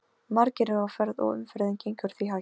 Margir eru á ferð og umferðin gengur því hægt.